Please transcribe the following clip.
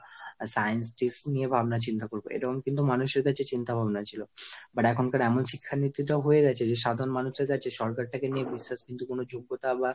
scientist নিয়ে ভাবনা চিন্তা করব এরকম কিন্তু মানুষ এর কাছে চিন্তাভাবনা ছিল। but এখনকার এমন শিক্ষানীতি টা হয়ে গেছে যে সাধারণ মানুষের কাছে সরকারটাকে নিয়ে বিশেষ কিন্তু কিছু যোগ্যতা বা,